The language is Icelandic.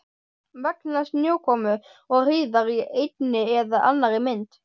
Vegna snjókomu og hríðar í einni eða annarri mynd.